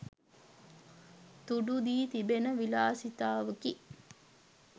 තුඩු දී තිබෙන විලාසිතාවකි